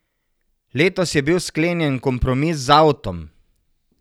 Letos je bil sklenjen kompromis z avtom.